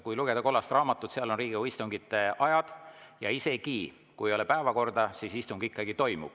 Kui lugeda kollast raamatut, seal on Riigikogu istungite ajad olemas, siis isegi juhul, kui ei ole päevakorda, istung ikkagi toimub.